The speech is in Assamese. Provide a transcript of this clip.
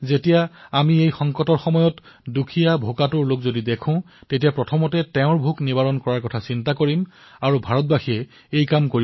কোনো দুখীয়াভোকাতুৰ লোক চকুত পৰিলে তেওঁৰ পেট ভৰোৱাৰ ব্যৱস্থা কৰক এয়াই মানৱতা আৰু এয়া ভাৰতে কৰিব পাৰে